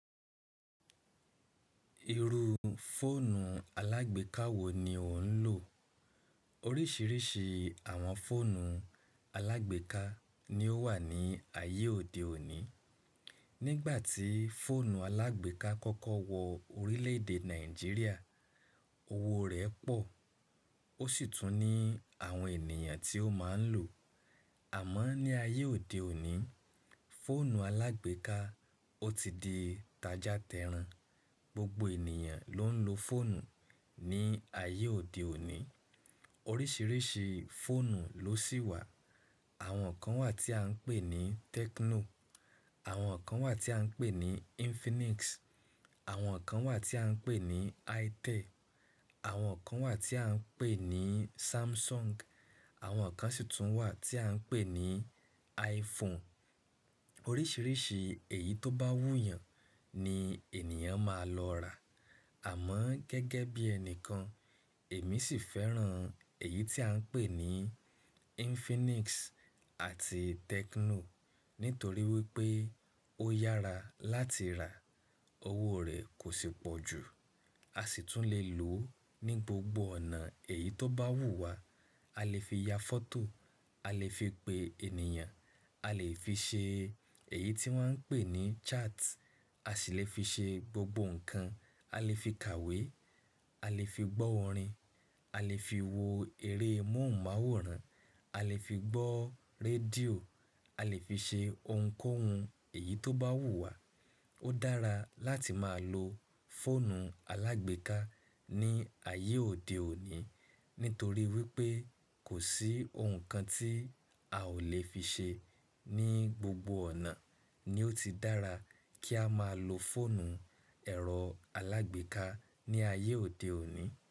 Irú fóònù alágbèéká wo ni o ń lò? Oríṣiríṣi àwọn fóònù alágbèéká ni ó wà ní ayé òde òní. Nígbàtí fóònù alágbèéká kọ́kọ́ wọ orílè-èdè Nàìjíríà, owó rẹ̀ pọ̀, ó sì tún ní àwọn ènìyàn tí ó máa ń lò. Àmọ́ ní ayé òde òní, fóònù alágbèéká ó ti di tajatẹrun. Gbogbo ènìyàn ló ń lo fóònù ní ayé òde òní. Oríṣiríṣi fóònù ló sì wà. Àwọn kan wà tí a ń pè ní Tecno, àwọn kan wà tí a ń pè ní Infinix, àwọn kan wà tí a ń pè ní Itel, àwọn kan wà tí a ń pè ní Samsung, àwọn kan sì tún wà tí a ń pè ní iPhone. Oríṣiríṣi èyí tó bá wù yàn ni ènìyàn máa lọ rà. Àmọ́ gẹ́gẹ́ bí ẹnìkan, èmi sì fẹ́ràn èyí tí à ń pè ní Infinix àti Tecno. Nítorí wípé ó yára láti rà, owó rẹ̀ kò sì pọ̀ jù. A sì tún lè lò ní gbogbo ọ̀nà èyí tó bá wù wá. A lè fi ya fọ́tò, a lè fi pe ènìyàn, a lè fi ṣe èyí tí wọ́n ń pè ní chat, a sì lè fi ṣe gbogbo ǹnkan. A lè fi kàwé, a lè fi gbọ́ orin, a lè fi wo eré móhùnmáwòrán, a lè fi gbọ́ rédíò, a lè fi ṣe ohunkóhun èyí tó bá wù wá. Ó dára láti máa lo fóònù alágbèéká ní ayé òde òní, nítorí wípé kò sí ohun kan tí a ò lè fi ṣe ní gbogbo ọ̀nà, ni ó ti dára kí a máa lo fóònù ẹ̀rọ alágbèéká ní ayé òde òní.